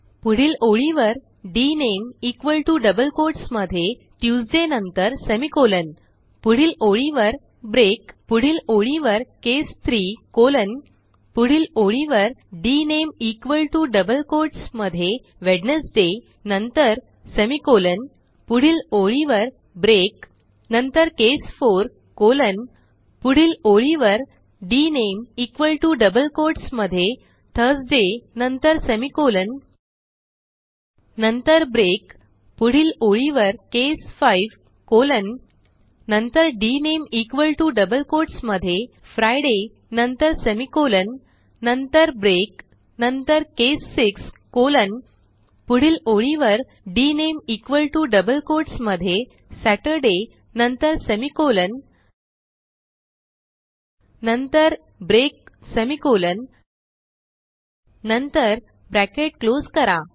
पुढील ओळीवर D N M E equal T O double quotes मध्ये ट्यूसडे नंतर सेमिकोलॉन पुढील ओळीवर ब्रेक पुढील ओळीवर केस 3 कॉलन पुढील ओळीवर D N M E equal T O double quotes मध्ये वेडनेसडे नंतर सेमिकोलॉन पुढील ओळीवर ब्रेक नंतर केस 4 कॉलन पुढील ओळीवर D N M E equal T O double quotes मध्ये थर्सडे नंतर सेमिकोलॉन 000332 000323 नंतर ब्रेक पुढील ओळीवर केस 5 कॉलन नंतर D N M E equal T O double quotes मध्ये फ्रिडे नंतर सेमिकोलॉन नंतर ब्रेक नंतर केस 6 कॉलन पुढील ओळीवर D N M E equal T O double quotes मध्ये सतुर्दय नंतर सेमिकोलॉन नंतर ब्रेक सेमिकोलॉन नंतर ब्रॅकेट क्लोज करा